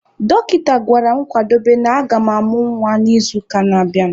Dọkịta gwara m kwadobe na agam amụ nwa n'izuụka na-abịanụ.